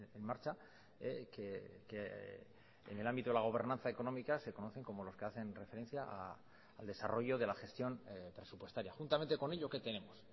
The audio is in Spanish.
en marcha que en el ámbito de la gobernanza económica se conocen como los que hacen referencia al desarrollo de la gestión presupuestaria juntamente con ello que tenemos